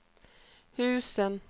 husen